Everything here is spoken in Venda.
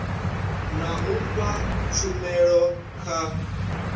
na u fha tshumelo kha